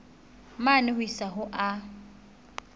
mane ho isa ho a